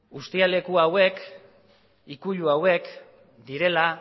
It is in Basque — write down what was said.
uztialeku hauek ikuilu hauek direla